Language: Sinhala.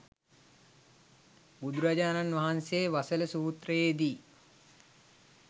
බුදුරජාණන් වහන්සේ වසල සූත්‍රයේ දී